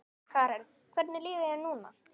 Karen: Hvernig líður þér núna?